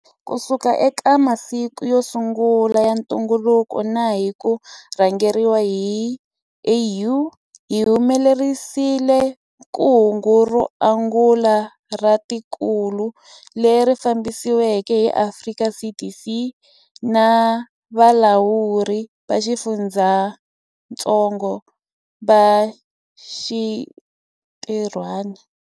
Kusuka eka masiku yo sungula ya ntungukulu na hi ku rhangeriwa hi AU, hi humelerisile kungu ro angula ra tikokulu, leri fambisiweke hi Afrika CDC na valawuri va xifundzatsongo va xinti rhwana.